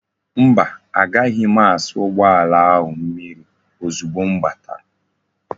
Mba, agaghi m asa ugboala ahu mmiri ozugbo m batara